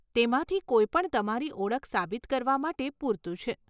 તેમાંથી કોઈપણ તમારી ઓળખ સાબિત કરવા માટે પૂરતું છે.